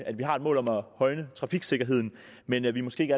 at vi har et mål om at højne trafiksikkerheden men at vi måske ikke